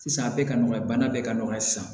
Sisan a bɛɛ ka nɔgɔya bana bɛɛ ka nɔgɔya sisan